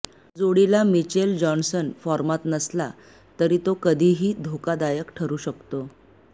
जोडीला Mitchell Johnson फॉर्मात नसला तरी तो कधीही धोकादायक ठरू शकतो